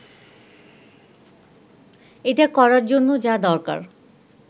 এটা করার জন্য যা দরকার